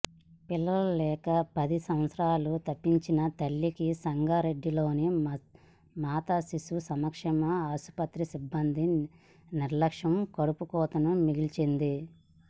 పిల్లలు లేక పది సంవత్సరాలు తపించిన తల్లికి సంగారెడ్డిలోని మాతశిశు సంక్షేమ ఆసుపత్రి సిబ్బంది నిర్లక్ష్యం కడుపుకొతను మిగిల్చింది